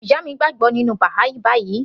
Ìyá mi gbàgbọ́ nínú Baha'i báyìí